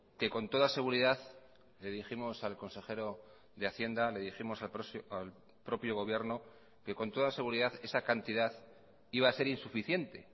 que con toda seguridad le dijimos al consejero de hacienda le dijimos al propio gobierno que con toda seguridad esa cantidad iba a ser insuficiente